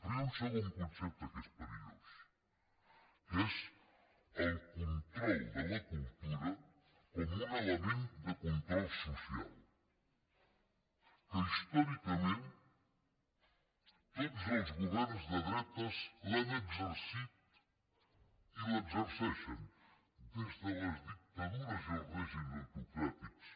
però hi ha un segon concepte que és perillós que és el control de la cultura com un element de control social que històricament tots els governs de dretes l’han exercit i l’exerceixen des de les dictadures i els règims autocràtics